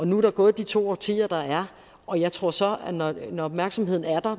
nu er der gået de to årtier der er og jeg tror så at når når opmærksomheden